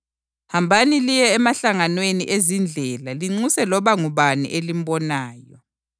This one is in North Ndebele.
Hambani liye emahlanganweni ezindlela linxuse loba ngubani elimbonayo.’